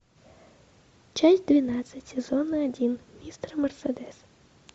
часть двенадцать сезона один мистер мерседес